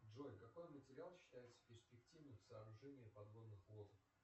джой какой материал считается перспективным в сооружении подводных лодок